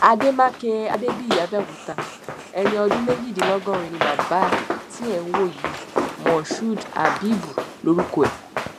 àdèmàkè adébíyì abẹ́òkúta ẹni ọdún méjìdínlọ́gọ́rin ni bàbá tí ẹ̀ ń wò yìí moshood habibu lorúkọ ẹ̀